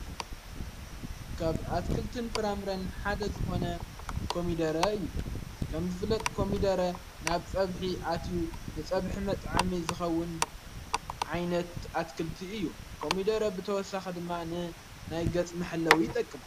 ካብ ኣትክልት ን ፍራምረን ሓደ ዝኾነ ኮሚደረ እዩ ከም ዝፍለጥ ኮሚደረ ናብ ጸብሒ ኣትዩ ንጸብሒ መጥ ዓሜ ዝኸውን ዓይነት ኣትክልቲ እዩ ኮሚደረ ብተወሳኽ ድማን ናይ ገጽምሐለዊ ይጠቅም።